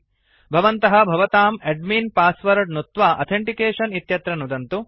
भवन्तः भवताम् admin password नुत्वा अथेन्टिकेशन् इत्यत्र नुदन्तु